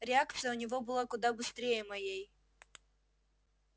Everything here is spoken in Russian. реакция у него была куда быстрее моей